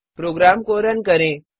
programme को run करें